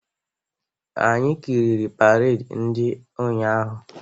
Anyị kiriri paredi ndị ụnyaahụ.